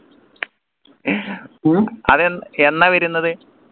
അത് എന്നാ വരുന്നത്